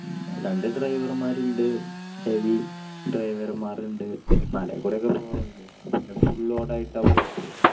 രണ്ട് driver മാരുണ്ട് heavy driver മാരുണ്ട് മലയില്കൂടെ ഒക്കെ പോകുന്നത് അല്ലെ, പിന്നെ full load ആയിട്ട് ആണ് പോരുന്നത്.